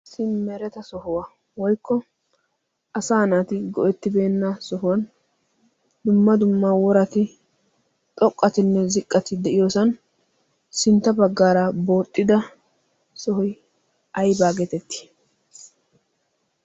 issi mereta sohuwaa woykko asa naati go'ettibeenna sohuwan dumma dumma worati xoqqatinne ziqqati de'iyoosan sintta baggaara booxxida sohoi aibaa geetettii?